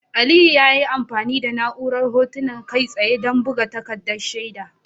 Aliyu ya yi amfani da na'urar Hotuna Kai tsaye don buga takaddun shaida.